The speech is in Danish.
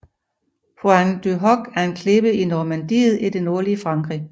Pointe du Hoc er en klippe i Normandiet i det nordlige Frankrig